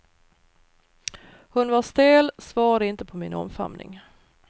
Hon var stel, svarade inte på min omfamning.